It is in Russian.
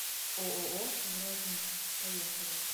ооо золотник поехали